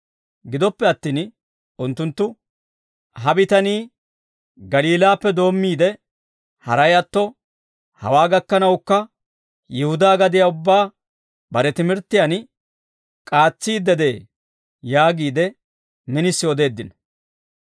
Gidoppe attin unttunttu, «Ha bitanii Galiilaappe doommiide, haray atto hawaa gakkanawukka, Yihudaa gadiyaa ubbaa bare timirttiyaan k'aatsiidde de'ee» yaagiide minisi odeeddino.